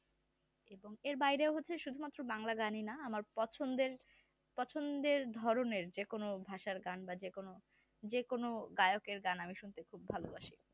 এবং এর বাহিরে শুধু মাত্র বাংলা গানই না আমার পছন্দের পছন্দের ধরণের যে কোনো ভাষার গান বা যে কোনো যে কোনো গায়কের গান আমি শুনতে খুব ভালো বাসি